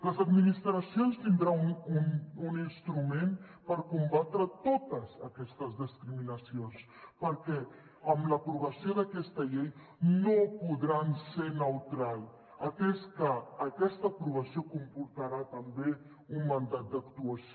les administracions tindran un instrument per combatre totes aquestes discriminacions perquè amb l’aprovació d’aquesta llei no podran ser neutrals atès que aquesta aprovació comportarà també un mandat d’actuació